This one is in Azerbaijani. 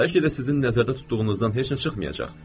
Bəlkə də sizin nəzərdə tutduğunuzdan heç nə çıxmayacaq,